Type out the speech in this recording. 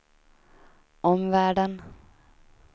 omvärlden